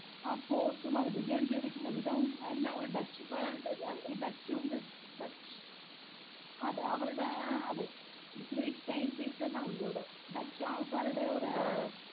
അതെ ആ fort ഉംഅത് design ചെയ്തിരിക്കന്ന വിധവ എല്ലാ കൂടെ Dutch Dutch അതെ അവരടെ അത് great painitngs ല്ലാം ഇന്ദ് അവിടെ Dutch ആൾക്കാരുടെ ഒരു